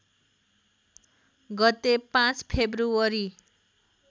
गते ५ फेबु्रअरी